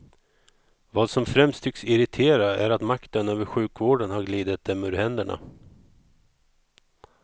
Vad som främst tycks irritera är att makten över sjukvården har glidit dem ur händerna.